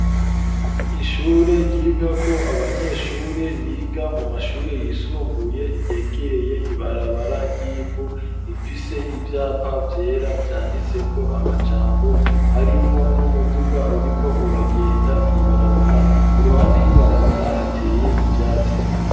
Ishure ryiga ko abanyeshure biga mu mashure yisumbuye ryegereye ibarabara ryivu bifise ivyapa vyera vyanditseko amajambo harimwo n'umuduga uriko uragenda mwibarabara i ruhande y'ibarabara hateye ivyatsi.